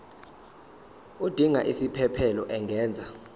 odinga isiphesphelo angenza